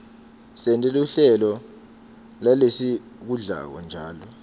sente luhlelo lalesikudlako njalo